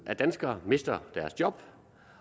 af danskere mister deres job